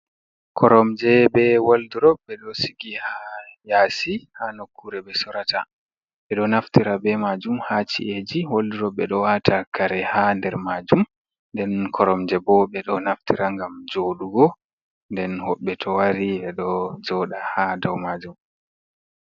Koromje ɓe wolɗurop. Ɓe ɗo sigi ha yasi ha nokkure ɓe sorata. Ɓe ɗo naftira ɓe majum ha chi’eji. Wolɗurop ɓe ɗo wata kare ha nɗer majum. Nɗen koromje bo ɓe ɗo naftira ngam joɗugo nɗen hoɓɓe to wari. Ɓe ɗo joɗa ha ɗou majum.